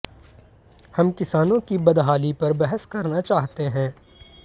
हम किसानों की बदहाली पर बहस करना चाहते हैं